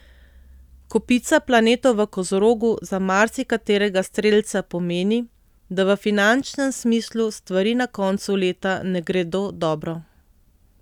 Kopica planetov v Kozorogu za marsikaterega strelca pomeni, da v finančnem smislu stvari na koncu leta ne gredo dobro.